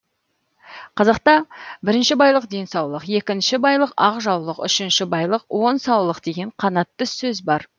қазақта бірінші байлық денсаулық екінші байлық ақ жаулық үшінші байлық он саулық деген қанатты сөз бар